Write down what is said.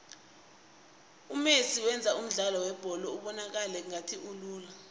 umesi wenza umdlalo webholo ubonakale ngathi ulula